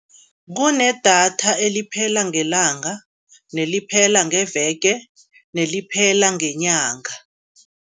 Kunedatha eliphela ngelanga, neliphela ngeveke, neliphela ngenyanga.